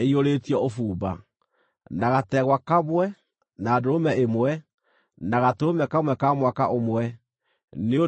na gategwa kamwe, na ndũrũme ĩmwe, na gatũrũme kamwe ka mwaka ũmwe, nĩ ũndũ wa iruta rĩa njino;